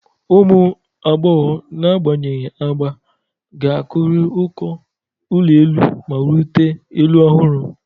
Ụmụ agbọghọ, n'agbanyeghị agba, ga-akụri uko ụlọ elu ma rute elu ọhụrụ.